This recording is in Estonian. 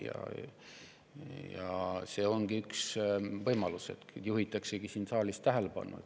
Ja see ongi üks võimalus, et juhitakse sellele tähelepanu.